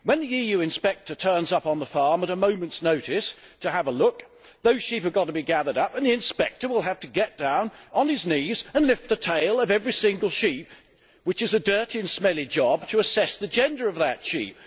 When the EU inspector turns up on the farm at a moment's notice to have a look, those sheep have to be gathered up and the inspector will have to get down on his knees and lift the tail of every single sheep which is a dirty and smelly job to assess the gender of that sheep.